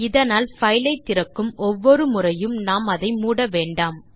இதனால் பைல் ஐ திறக்கும் ஒவ்வொரு முறையும் நாம் அதை மூட வேண்டாம்